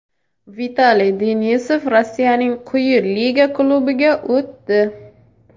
Vitaliy Denisov Rossiyaning quyi liga klubiga o‘tdi.